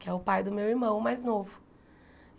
que é o pai do meu irmão, mais novo.